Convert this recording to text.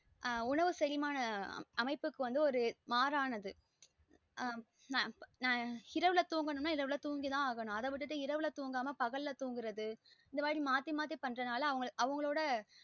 ஆஹ் செரிமான அமைப்புக்கு வந்து ஒரு மாறானது ஆஹ் நான் னா இரவுல துன்கனும் னா தூங்கி தான் அகனும் அத விட்டுட்டு இரவுல தூங்கமா பகல துங்குறது இந்த மாறி மாத்தி மாத்தி பண்ற நாளா அவங்களோட